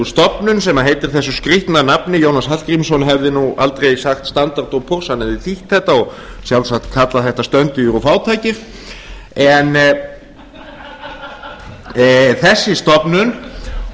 stofnun sem heitir þessu skrýtna nafni jónas hallgrímsson hefði nú aldrei sagt standard og hann hefði þýtt þetta og sjálfsagt kallað þetta stöndugir og fátækir þessi